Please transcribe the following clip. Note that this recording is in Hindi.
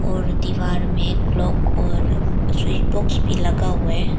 और दीवार में क्लॉक और स्विच बॉक्स भी लगा हुआ है।